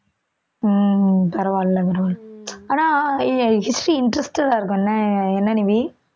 உம் பரவாயில்லை பரவா~ ஆனா hi~ history interested ஆ இருக்கும்னு என்ன என்ன நிவி